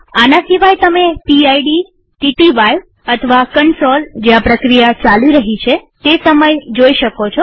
આના સિવાય તમે પીડ TTY અથવા કન્સોલ જ્યાં પ્રક્રિયા ચાલી રહી છે તેસમય જોઈ શકો છો